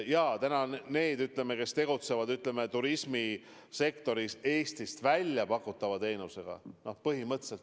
Praegu on väga hädas need, kes tegutsevad turismisektoris, pakkudes teenuseid Eestist väljas.